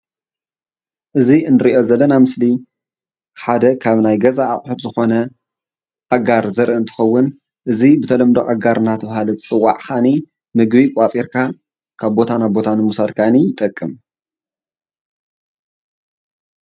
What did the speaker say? እዚ እንሪኦ ዘለና ምስሊ ሓደ ካብ ናይ ገዛ ኣቁሕት ዝኮነ ኣጋር ዘርኢ እንትከውን እዚ ብተለምዶ ኣጋር እንዳተባሃለ ዝፅዋዕ ከዓኒ ምግቢ ቋፂርካ ካብ ቦታ ናብ ቦታ ንምውሳድ ከዓኒ ይጠቅም፡፡